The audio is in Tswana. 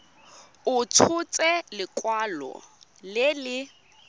a tshotse lekwalo le le